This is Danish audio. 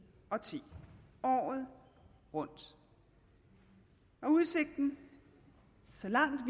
og ti året rundt og udsigten så langt